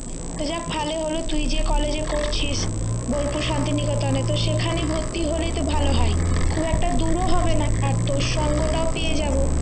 যাক ভালো হলো তুই যে college এ করছিস বোলপুর শান্তিনিকেতনে তো সেখানে ভর্তি হলেই তো ভালো হয় খুব একটা দূরও হবে না আর তোর সঙ্গ টাও পেয়ে যাবো